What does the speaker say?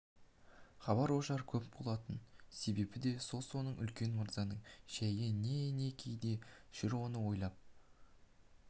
хабар-ошар көп болатын себебі де сол соның үлкені мырзаның жәйі не не күйде жүр оны ойлап